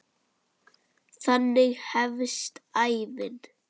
Þannig hefst ævin.